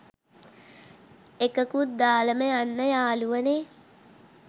එකකුත් දාලම යන්න යාලුවනේ